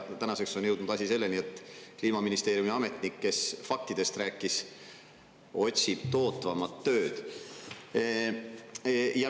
Tänaseks on jõudnud asi selleni, et Kliimaministeeriumi ametnik, kes faktidest rääkis, otsib tootvamat tööd.